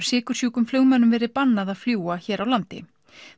sykursjúkum flugmönnum verið bannað að fljúga hér á landi